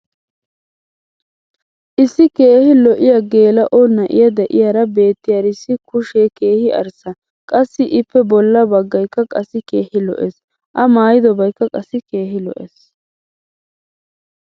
issi keehi lo'iya geela'o na'iya diyaara beetiyaarissi kushshee keehi arssa qassi ippe bola bagaykka qassi keehi lo'ees. a maayiddobaykka qassi keehi lo'ees.